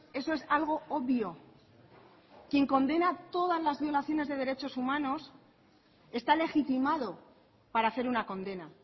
eso es algo obvio quien condena todas las violaciones de derechos humanos está legitimado para hacer una condena